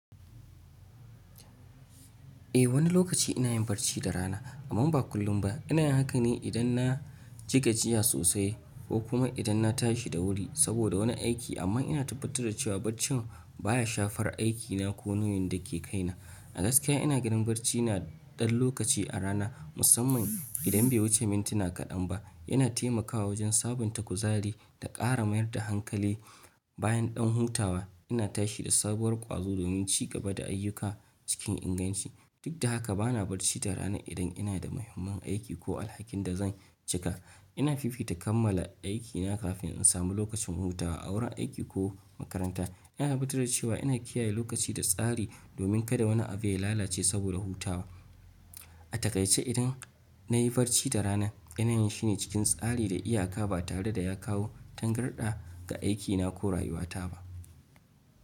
Eh, wani lokaci ina yin barci da rana, amman ba kullum ba. Ina yin haka ne idan na ji gajiya sosai ko kuma idan na tashi da wuri saboda wani aiki. Amma ina tabbatar da cewa barcin baya shafar aikina ko nauyin da ke kaina. A gaskiya, ina ganin barci na ɗan lokaci a rana, musamman idan bai wuce mintuna kaɗan ba, yana taimakawa wajen sabunta kuzari da ƙara mayar da hankali. Bayan ɗan hutawa, ina tashi da sabuwar ƙwazo domin ci gaba da ayyuka cikin inganci. Duk da haka, bana barci da rana idan ina da muhimman aiki ko alhakin da zan cika. Ina fifita kammala aikina kafin in samu lokacin hutawa a wurin aiki ko makaranta. Ina tabbatar da cewa ina kiyaye lokaci da tsari domin kada wani abu ya lalace saboda hutawa. A takaice idan, na yi barci da rana, ina yin shi ne cikin tsari da iyaka ba tare da ya kawo tangarɗa ga aikina ko rayuwata ba.